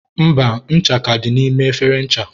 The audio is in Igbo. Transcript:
mba, ncha ka dị n'ime efere ncha.